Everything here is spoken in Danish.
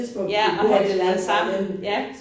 Ja og have det lavet sammen ja